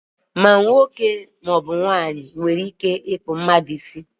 ma nwoke ma ọ bụ nwanyị nwere ike ịkpụ mmadu isi